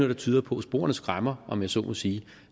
der tyder på og sporene skræmmer om jeg så må sige